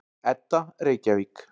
Edda, Reykjavík.